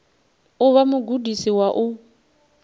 u vha mugudisi wa u